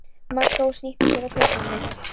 Magga og snýtti sér á peysuerminni.